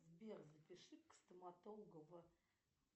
сбер запиши к стоматологу в